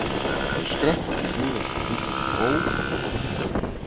Hann skrapp út í búð ásamt hundinum Bo og nokkrum lífvörðum.